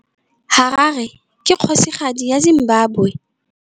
Harare ke kgosigadi ya Zimbabwe.